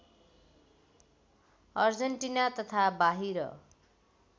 Argentina तथा बाहिर